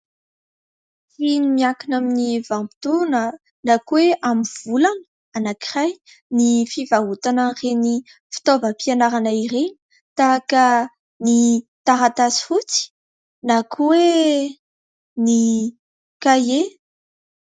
Miankina amin'ny vanim-pitoana na koe amin'ny volana anankiray ny fivarotana ireny fitaovam-pianarana irey tahaka ny taratasy fotsy na koa ny kahie.